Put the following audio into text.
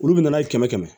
Olu bɛ na n'a ye kɛmɛ kɛmɛ